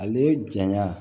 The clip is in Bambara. Ale janya